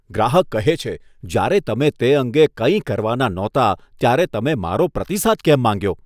ગ્રાહક કહે છે, જ્યારે તમે તે અંગે કંઈ કરવાના નહોતા ત્યારે તમે મારો પ્રતિસાદ કેમ માંગ્યો?